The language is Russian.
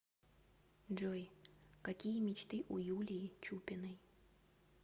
джой какие мечты у юлии чупиной